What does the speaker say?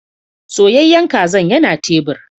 Soyayyen kazan yana tebur.